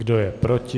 Kdo je proti?